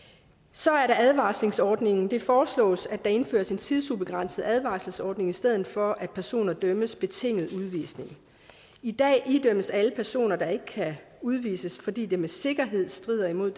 så er der advarselsordningen det foreslås at der indføres en tidsubegrænset advarselsordning i stedet for at personer idømmes en betinget udvisning i dag idømmes alle personer der ikke kan udvises fordi det med sikkerhed strider imod